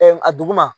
a duguma